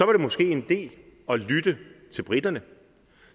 var det måske en idé at lytte til briterne